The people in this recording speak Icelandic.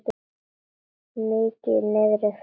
Mikið niðri fyrir.